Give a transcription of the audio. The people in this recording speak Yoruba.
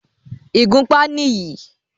ìgúnpá nì yí.